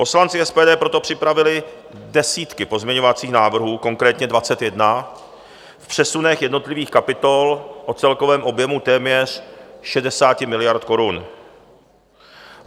Poslanci SPD proto připravili desítky pozměňovacích návrhů, konkrétně 21, v přesunech jednotlivých kapitol o celkovém objemu téměř 60 miliard korun.